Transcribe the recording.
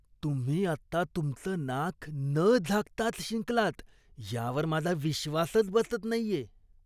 तुम्ही आत्ता तुमचं नाक न झाकताच शिंकलात यावर माझा विश्वासच बसत नाहीये.